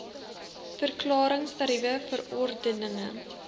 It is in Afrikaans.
verklarings tariewe verordeninge